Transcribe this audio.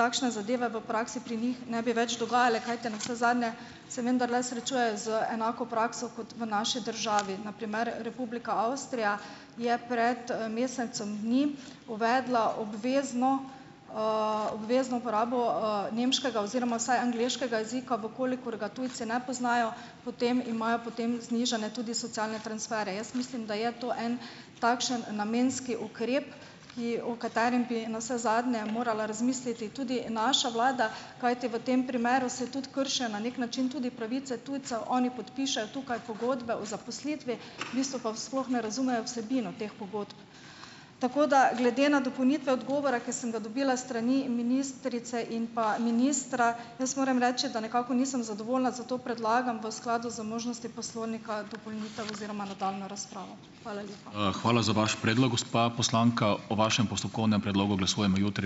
takšne zadeve v praksi pri njih ne bi več dogajale, kajti navsezadnje se vendarle srečujejo z enako prakso kot v naši državi. Na primer, Republika Avstrija je pred, mesecem dni uvedla obvezno, obvezno uporabo, nemškega oziroma vsaj angleškega jezika, v kolikor ga tujci ne poznajo, potem imajo potem znižane tudi socialne transferje. Jaz mislim, da je to en takšen namenski ukrep, ki, o katerem bi navsezadnje morala razmisliti tudi naša vlada, kajti v tem primeru se tudi krši na neki način tudi pravice tujcev, oni podpišejo tukaj pogodbe o zaposlitvi, v bistvu pa sploh ne razumejo vsebino teh pogodb. Tako, da glede na dopolnitve odgovora, ki sem ga dobila s strani ministrice in pa ministra, jaz moram reči, da nekako nisem zadovoljna, zato predlagam v skladu z možnostjo poslovnika dopolnitev oziroma nadaljnjo razpravo. Hvala lepa.